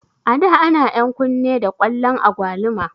A da ana enkun ne da kwalon agwaluma